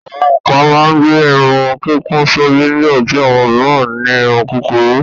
Àwọn kan máa ń gbé irun kíkún sórí nígbà tí àwọn mìíràn ní irun kúkurú.